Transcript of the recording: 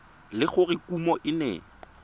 le gore kumo e ne